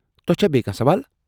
تۄہہ چھا بیٚیہ کانٛہہ سوال؟